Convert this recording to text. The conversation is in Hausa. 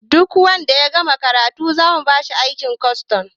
Duk wanda ya gama karatu zamu bashi aikin kwastom